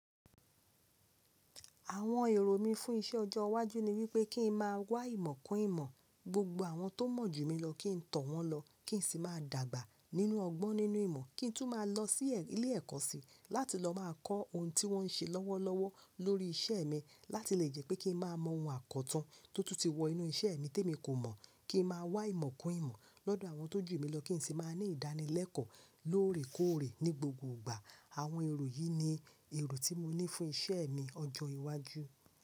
Àwon èrò mí fún isé ọjọ́ iwájú ni wípé kí n máa wá ìmọ̀ kún ìmọ̀, gbogbo àwon to mọ̀ jù mí lọ kí n tó wọn lọ, kí n sì máa dàgbà nínú ọgbọ́n nínú ìmọ̀, kí n tún máa lọ sí ilé ẹ̀kọ́ sí láti lọ máa kọ́ ohun tí wọ́n n ṣe lọ́wọ́lọ́wọ́ lórí isé mi láti lè jẹ́ pé kí n máa mọ ohun àkọtun tó tún ti wọ inú isé mi tí emi kò mọ̀, kí n máa wá ìmọ̀ kún ìmọ̀ lọ́dọ̀ àwọn tó jù mí lọ kí n sì máa ní ìdánilẹ́kọ̀ọ́ lóòrèkóòrè ní gbogbo ìgbà. Àwọn èrò yìí ni èrò tí mo ní fún isé mi ọjọ́ iwájú.